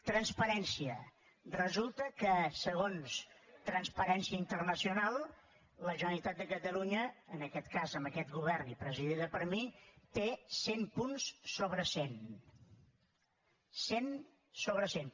transparència resulta que segons transparència internacional la generalitat de catalunya en aquest cas amb aquest govern i presidida per mi té cent punts sobre cent cent sobre cent